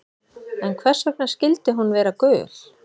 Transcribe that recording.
En hvers vegna skyldi hún vera gul?